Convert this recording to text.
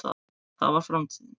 það var framtíðin.